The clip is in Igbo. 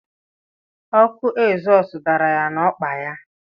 Ọkụ egzọs dara ya na-ọkpa ya.